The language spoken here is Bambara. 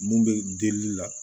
Mun bɛ delili la